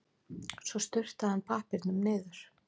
Svo sturtaði hann pappírnum niður.